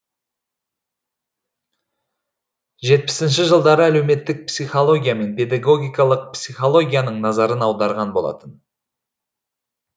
жетпісінші жылдары әлеуметтік психология мен педагогикалық психологияның назарын аударған болатын